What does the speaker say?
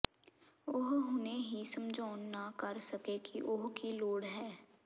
ਉਹ ਹੁਣੇ ਹੀ ਸਮਝਾਉਣ ਨਾ ਕਰ ਸਕੇ ਕਿ ਉਹ ਕੀ ਲੋੜ ਹੈ